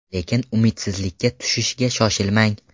Lekin umidsizlikka tushishga shoshilmang!